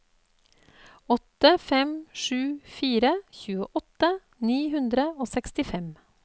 åtte fem sju fire tjueåtte ni hundre og sekstifem